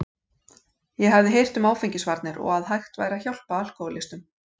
Ég hafði heyrt um áfengisvarnir og að hægt væri að hjálpa alkóhólistum.